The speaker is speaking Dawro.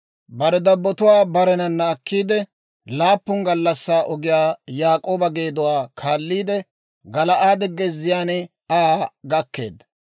Bare dabbotuwaa barenana akkiidde, laappun gallassaa ogiyaa Yaak'ooba geeduwaa kaalliidde, Gala'aade gezziyaan Aa gakkeedda.